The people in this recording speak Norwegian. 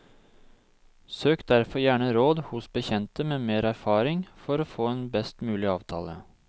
Søk derfor gjerne råd hos bekjente med mer erfaring for å få en best mulig avtale.